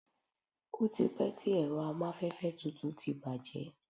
o ti pẹ ti ẹrọ amafẹfẹ tutù ti bàjé